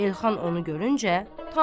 Elxan onu görüncə tanıyır.